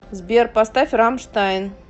сбер поставь рамштайн